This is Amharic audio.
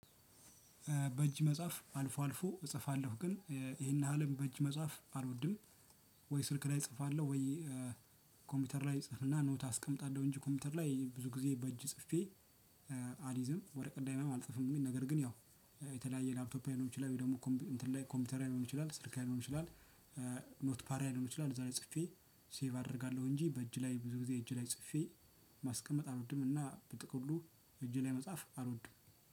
በእጅ መጽሐፍ አልፎ አልፎ እጽፋለሁ ግን ይሄን ያህልም በእጅ መጽሐፍ አልወድም። ወይ ስልክ ላይ እጽፋለሁ ወይ። ኮምፒውተር ላይ እጽፍና ኖት አስቀምጣለሁ እንጂ ኮምፒውተር ላይ ብዙ ጊዜ በእጅ ጽፌ። አሊዝም ወረቀት ላይም አልጽፍም ነገር ግን ያው የተለያየ ላፕቶፕ ሊሆን ይችላል ወይ ደግሞ ኮምፒውተር ሊሆን ይችላል ስልክ ሊሆን ይችላል። ኖት ፓራይድ ሊሆን ይችላል እዛ ላይ ጽፌ ሴቭ አደርጋለሁ። እንጂ በእጅ ላይ ብዙ ጊዜ እጅ ላይ ጽፌ። ማስቀመጥ አልወድምና በጥቅሉ እጅ ላይ መጻፍ አልወድም።